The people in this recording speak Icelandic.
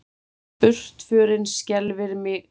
Burtförin skelfir mig ekki.